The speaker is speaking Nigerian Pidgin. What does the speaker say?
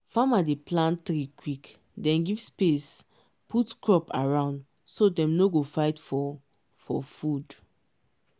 farmer dey plant tree quick then give space put crop around so dem no go fight for for food.